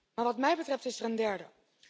Maar wat mij betreft is er een derde.